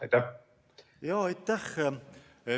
Aitäh!